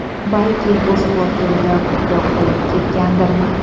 Balki, bu sport turida ko‘proq qolib ketgandirman.